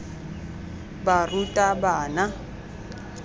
barutabana